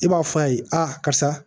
I b'a fɔ a ye a karisa